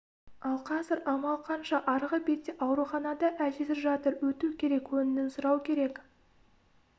ал қазір амал қанша арғы бетте ауруханада әжесі жатыр өту керек көңілін сұрау керек